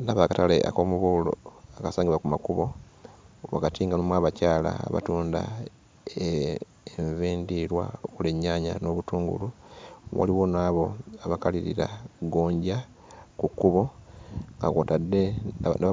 Ndaba akatale ak'omubuulo akasangibwa ku makubo wakati nga nga mulimu abakyala abatunda enva endiirwa okuli ennyaanya n'obutungulu. Waliwo n'abo abakalirira gonja ku kkubo nga kw'otadde